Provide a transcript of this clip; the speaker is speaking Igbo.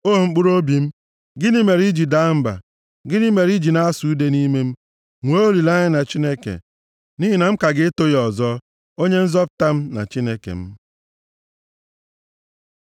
O mkpụrụobi m, gịnị mere i ji daa mba? Gịnị mere i ji na-asụ ude nʼime m? Nwee olileanya na Chineke, nʼihi na m ka ga-eto ya ọzọ, onye Nzọpụta m na Chineke m.